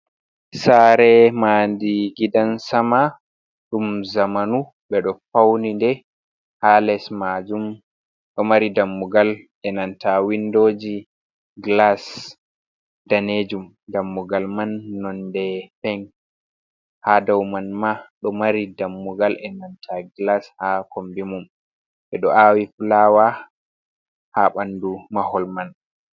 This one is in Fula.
Sare mandi gidan sama ɗum zamanu be do fauninde, ha les majum do mari dammugal e nanta windoji glas danejum. dammugal man nonde pink, ha dauman ma do mari dammugal e nanta glas ha kombimum. Ɓedo awi flawa ha bandu mahol man.